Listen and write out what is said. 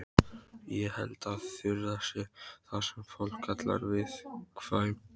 Ég held að Þura sé það sem fólk kallar viðkvæm.